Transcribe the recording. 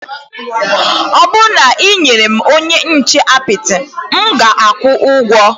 Ọ bụrụ na ị nye m onye nche apịtị, m ga-akwụ ụgwọ